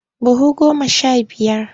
Buhu goma sha biyar.